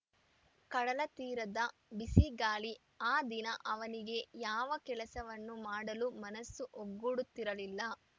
ಕಡಲ ತೀರದ ಬಿಸಿಗಾಳಿ ಆ ದಿನ ಅವನಿಗೆ ಯಾವ ಕೆಲಸವನ್ನು ಮಾಡಲೂ ಮನಸ್ಸು ಒಗ್ಗೂಡುತ್ತಿರಲಿಲ್ಲ